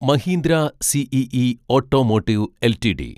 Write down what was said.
Mahindra CIE automotive LTD